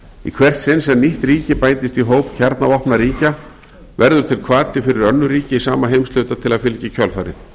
í hvert sinn sem nýtt ríki bætist í hóp kjarnavopnaríkja verður til hvati fyrir önnur ríki í sama heimshluta til að fylgja í kjölfarið